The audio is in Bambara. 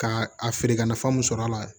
K'a a feere ka nafa mun sɔrɔ a la